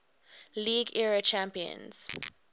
league era champions